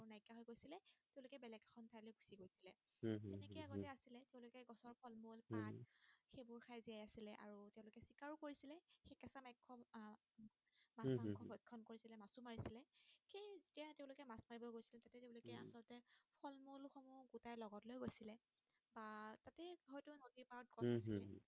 উম হম